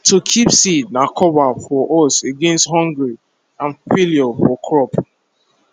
to keep seed na cover for us against hungry and failure for crop